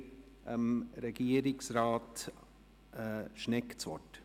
Somit erteile ich Regierungsrat Schnegg das Wort.